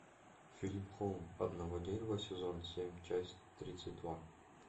фильм холм одного дерева сезон семь часть тридцать два